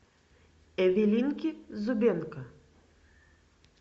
эвелинки зубенко